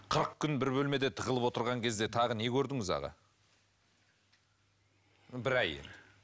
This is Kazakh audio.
қырық күн бір бөлмеде тығылып отырған кезде тағы не көрдіңіз аға бір ай